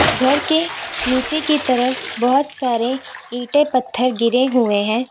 घर के नीचे की तरफ बहुत सारे ईंटे पत्थर गिरे हुए है।